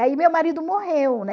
Aí meu marido morreu